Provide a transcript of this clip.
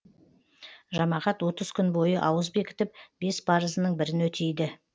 жамағат отыз күн бойы ауыз бекітіп бес парызының бірін өтейді